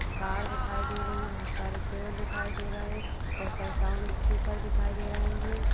Car दिखाई दे रही है। बोहोत सारे पेड़ दिखाई दे रहे। बोहोत सारे साउंड स्पीकर दिखाई दे रहे हैं।